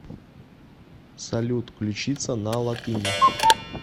салют ключица на латыни